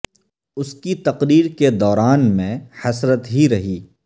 اس کی تقریر کے دوارن میں حسرت ہی رہی